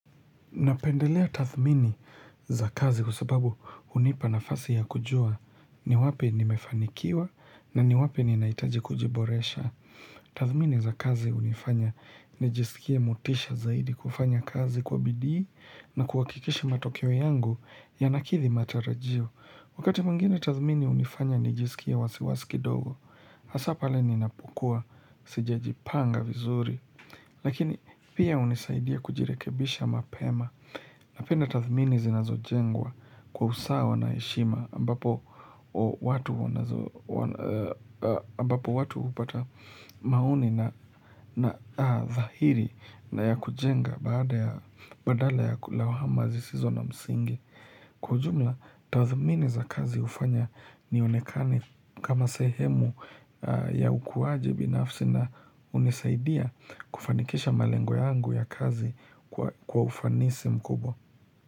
Napendelea tathmini za kazi kwa sababu hunipa nafasi ya kujua ni wapi nimefanikiwa na ni wapi ni naitaji kujiboresha. Tathmini za kazi hunifanya nijisikie motisha zaidi kufanya kazi kwa bidii na kuhakikisha matokeo yangu yanakithi matarajio. Wakati mwengine tathmini hunifanya nijisikie wasiwasiki kidogo, hasa pale ninapokua sijajipanga vizuri. Lakini pia hunisaidia kujirekebisha mapema napenda tathmini zinazojengwa kwa usawa na heshima ambapo watu hupata maoni na dhahiri na ya kujenga badala ya lawama zisizo na msingi. Kwa ujumla, tathmini za kazi jufanya nionekane kama sehemu ya ukuwaji binafsi na hunisaidia kufanikisha malengo yangu ya kazi kwa ufanisi mkubwa.